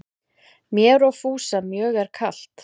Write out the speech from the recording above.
Mér og Fúsa mjög er kalt